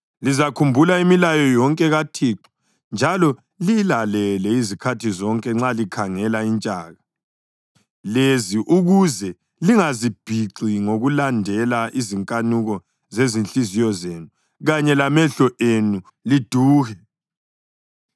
Lizakhumbula imilayo yonke kaThixo njalo liyilalele izikhathi zonke nxa likhangela intshaka lezi ukuze lingazibhixi ngokulandela izinkanuko zezinhliziyo zenu kanye lamehlo enu liduhe.